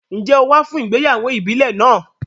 Ǹjẹ́ o wá fún ìgbéyàwó ìbílẹ̀ náà?